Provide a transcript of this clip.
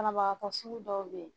Banabagatɔ sugu dɔw bɛ yen